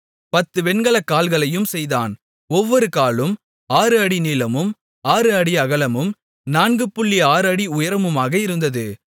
10 வெண்கல கால்களையும் செய்தான் ஒவ்வொரு காலும் 6 அடி நீளமும் 6 அடி அகலமும் 46 அடி உயரமுமாக இருந்தது